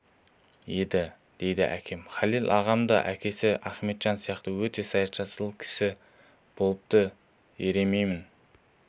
еді дейтін әкем халел ағам да әкесі ахметжан сияқты өте саятшыл сері кісі болыпты ерейменнің